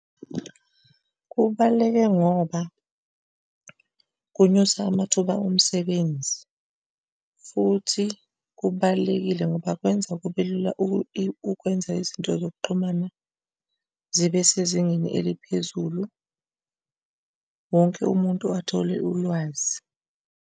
Kubaluleke ngoba kunyusa amathuba omsebenzi futhi kubalulekile ngoba kwenza kube lula ukwenza izinto zokuxhumana zibe sezingeni eliphezulu, wonke umuntu athole ulwazi.